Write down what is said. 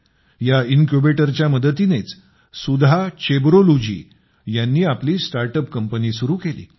या इनक्यूबेटरच्या मदतीनेच सुधा चेब्रोलू जी यांनी आपली स्टार्ट अप कंपनी सुरु केली